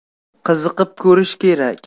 Qiziqib ko‘rish kerak.